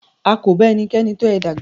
A kò ba ẹnikẹ́ni tọ ẹ dàgbà.